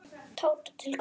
Tóta: Til hvers?